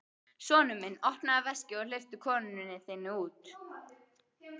Sonur minn, opnaðu veskið og hleyptu konunni þinni út!